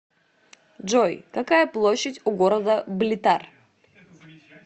джой какая площадь у города блитар